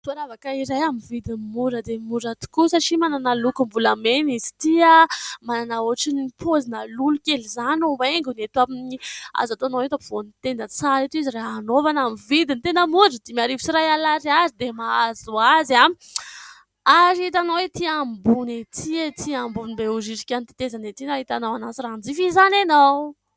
Firavaka amin'ny vidiny tena mora dia mora tokoa satri manana lokom-bolamena izy ity tokoa, manana ohatrany pozina lolo kely izy ity ary azo atao eo am-povoany tenda amin'ny vidiny tena mora satria dimy arivo sy iray alina ariary monja izy. Izay hita ety ambony ety behoririka, ambony tetezana ity raha hanjifa izy ity ianao.